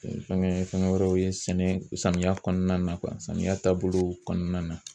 Fɛnkɛ fɛnkɛ wɛrɛw ye sɛnɛ samiya kɔnɔna na samiya taabolow kɔnɔna na.